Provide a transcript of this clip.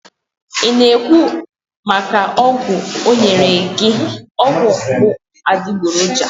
i na ekwu maka ogwu o nyere gi? ọgwụ bụ adịgboroja